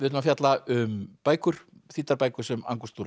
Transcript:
að fjalla um bækur þýddar bækur sem